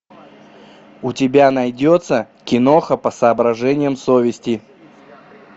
у тебя найдется киноха по соображениям совести